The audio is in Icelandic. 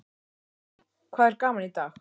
Lillý: Hvað er gaman í dag?